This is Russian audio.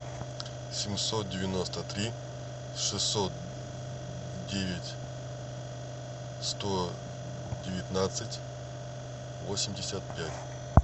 семьсот девяносто три шестьсот девять сто девятнадцать восемьдесят пять